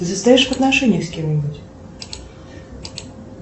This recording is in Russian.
ты состоишь в отношениях с кем нибудь